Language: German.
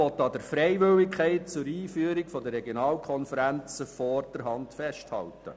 Die SAK will vorerst an der Freiwilligkeit zur Einführung der Regionalkonferenzen festhalten.